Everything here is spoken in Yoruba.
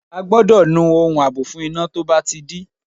A gbọ́dọ̀ nu ohun àbò fún iná tó bá ti dí.